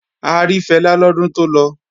A rí Fẹlá lọ́dún tó lọ